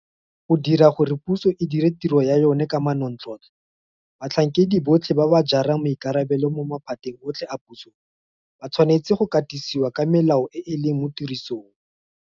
Go dira gore puso e dire tiro ya yona ka manontlhotlho batlhankedi botlhe ba ba jarang maikarabelo mo maphateng otlhe a puso ba tshwanetse go katisiwa ka melao e e leng mo tirisong.